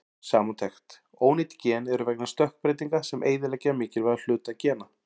Samantekt: Ónýt gen eru vegna stökkbreytinga sem eyðileggja mikilvæga hluta gena.